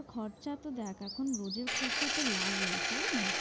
খরচ তো দেখ, এখন রোজের খরচা তো লাগেই, তাই না